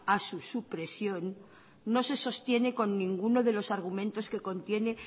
a su supresión no se sostiene con ninguna de los argumentos que contiene